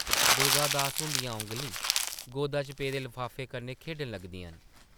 दुर्गा दास हुंदियां औंगलीं गोदा च पेदे लफाफे कन्नै खेढन लगदियां न ।